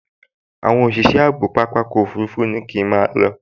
Àwọn òṣìṣẹ́ ààbò pápákọ̀ òfurufú ní kí n máa lọ